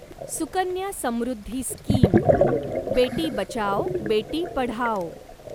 Sukanya Samriddhi scheme बेटी बचाओ बेटी पढाओ